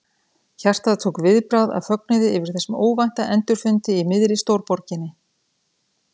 Hjartað tók viðbragð af fögnuði yfir þessum óvænta endurfundi í miðri stórborginni.